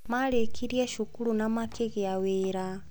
Marĩkirie cukuru na makĩgĩa wĩra